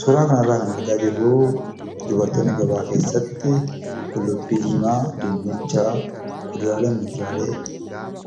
Suuraa kana irraa kan argaa jirru, dubartoonni gabaa keessatti qullubbii diimaa, dinnicha, kuduraaleefi muduraalee